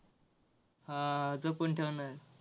हा जपून ठेवणार आहे.